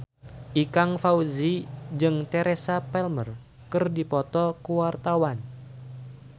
Ikang Fawzi jeung Teresa Palmer keur dipoto ku wartawan